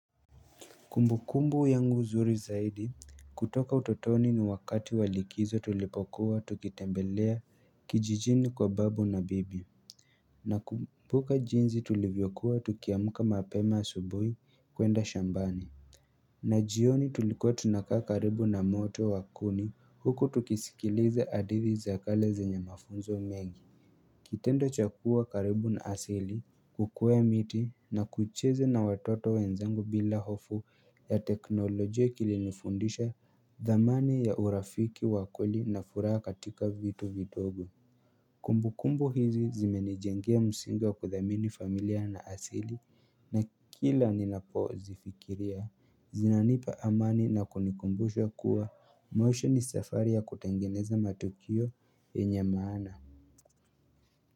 Kumbukumbu yangu nzuri zaidi kutoka utotoni ni wakati wa likizo tulipokuwa tukitembelea kijijini kwa babu na bibi Nakumbuka jinzi tulivyokuwa tukiamuka mapema asubuhi kuenda shambani na jioni tulikuwa tunakaa karibu na moto wa kuni huku tukisikiliza hadithi za kale zenye mafunzo mengi kitendo cha kuwa karibu na asili kukwea miti na kucheza na watoto wenzangu bila hofu ya teknolojia kilinifundisha dhamani ya urafiki wa kweli na furaha katika vitu vidogo Kumbukumbu hizi zimenijengea msingi wa kuthamini familia na asili na kila ninapo zifikiria zinanipa amani na kunikumbusha kuwa maisha ni safari ya kutengeneza matokio yenye maana.